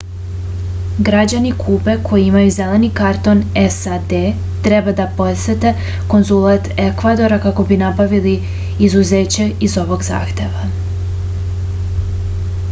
građani kube koji imaju zeleni karton sad treba da posete konzulat ekvadora kako bi nabavili izuzeće iz ovog zahteva